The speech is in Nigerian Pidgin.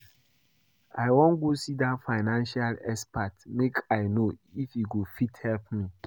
I wan go see dat financial expert make I no if he go fit help me